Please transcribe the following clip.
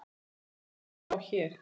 Ummælin má sjá hér.